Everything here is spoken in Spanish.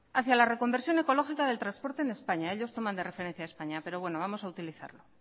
hacia la reconversión ecológica del transporte en españa ellos toman de referencia a españa pero bueno vamos a utilizarlo